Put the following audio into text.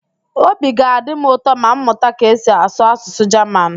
Obi ga-adị m ụtọ ma m mụta ka esi asụ Asụsụ Jaman